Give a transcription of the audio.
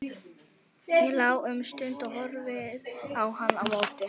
Ég lá um stund og horfði á hann á móti.